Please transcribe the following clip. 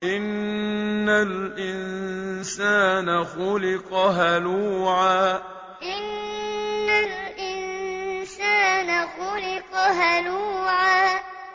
۞ إِنَّ الْإِنسَانَ خُلِقَ هَلُوعًا ۞ إِنَّ الْإِنسَانَ خُلِقَ هَلُوعًا